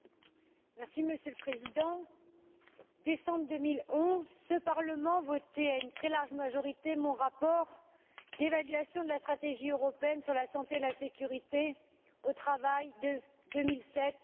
Monsieur le Président, en décembre 2011, ce Parlement votait à une très large majorité mon rapport d'évaluation de la stratégie européenne sur la santé et la sécurité au travail de 2007 à